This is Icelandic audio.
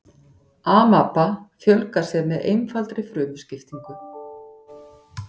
amaba fjölgar sér með einfaldri frumuskiptingu